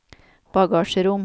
bagasjerom